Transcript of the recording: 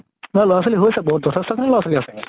লʼৰা ছোৱালী হৈছে বহুত, যথেষ্ট খিনি লʼৰা ছোৱালী আছে।